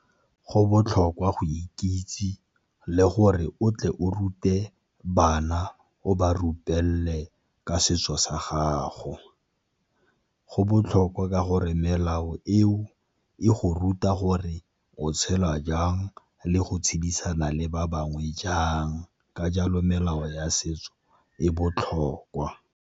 Go botlhokwa go ikitse le gore o tle o rute bana o ba rutelele ka setso sa gago, go botlhokwa ka go gore melao eo e go ruta gore o tshela jang le go tshedisana le ba bangwe jang ka jalo melao ya setso e botlhokwa.